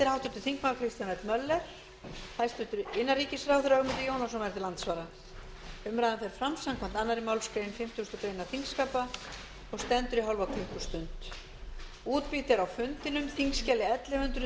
háttvirtur þingmaður kristján l möller hæstvirtur innanríkisráðherra ögmundur jónasson verður til andsvara umræðan fer fram samkvæmt annarri málsgrein fimmtugustu grein þingskapa og stendur í hálfa klukkustund